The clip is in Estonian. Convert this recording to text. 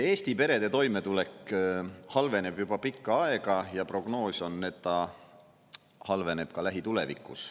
Eesti perede toimetulek halveneb juba pikka aega ja prognoos on, et ta halveneb ka lähitulevikus.